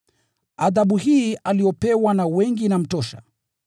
Adhabu hii aliyopewa na wengi inamtosha.